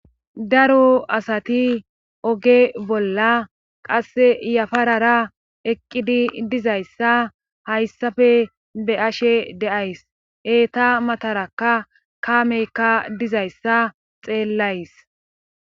daro asati oge bolla qasse yafarara eqqidi dizayssa hayssafe be'ashe de'ays eeta matarakka kaameykka dizayssa xeellays